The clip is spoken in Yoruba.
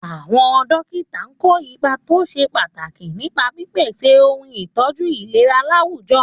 Àwọn dókítà kó ipa tó ṣe pàtàkì nípa pípèsè ohun ìtọ́jú ìlera láwùjọ.